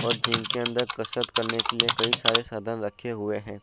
और जिम के अंदर कसरत करने के लिए कई सारे सदन लक्खे हुए है।